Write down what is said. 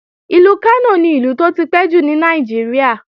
Ìlú Kánò ni Ìlú tó tipẹ́ jù ní Nàìjíríà